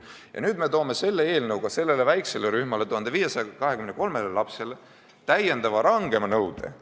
Ja nüüd me kehtestame selle eelnõu kohaselt väiksele rühmale, 1523 lapsele täiendava, rangema nõude.